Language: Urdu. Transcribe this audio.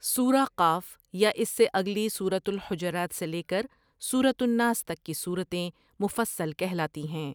سورۃ ق یا اس سے اگلی سورۃ الحجرات سے لے کر سورۃ الناس تک کی سورتیں مفصل کہلاتی ہیں ۔